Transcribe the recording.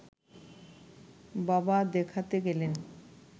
বাবা দেখাতে গেলেন